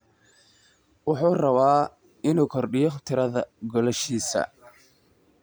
Wuxuu rabaa inuu kordhiyo tirada goolashiisa.